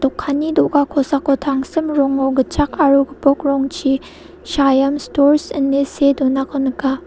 kanni do·ga ko·sako tangsim rongo gitchak aro gipok rongchi saiam stors ine see donako nika.